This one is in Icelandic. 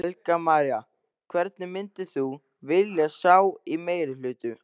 Helga María: Hvern myndir þú vilja sjá í meirihluta?